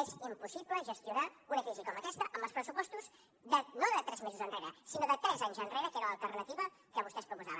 és impossible gestionar una crisi com aquesta amb els pressupostos no de tres mesos enrere sinó de tres anys enrere que era l’alternativa que vostès proposaven